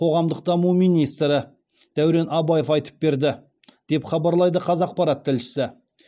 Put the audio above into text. қоғамдық даму министрі дәурен абаев айтып берді деп хабарлайды қазақпарат тілшісі